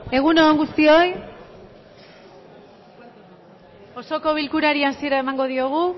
egun on guztioi osoko bilkurari hasiera emango diogu